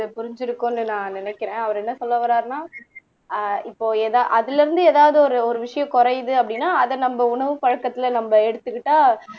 புரிஞ்சிருக்கும்ன்னு நான் நினைக்கிறேன் அவர் என்ன சொல்ல வர்றாருன்னா அஹ் இப்போ எதா அதுல இருந்து ஏதாவது ஒரு ஒரு விஷயம் குறையுது அப்படின்னா அத நம்ம உணவு பழக்கத்துல நம்ம எடுத்துக்கிட்டா